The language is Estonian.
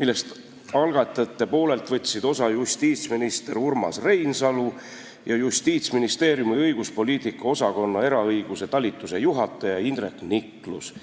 millest algatajate poolelt võtsid osa justiitsminister Urmas Reinsalu ja Justiitsministeeriumi õiguspoliitika osakonna eraõiguse talituse juhataja Indrek Niklus.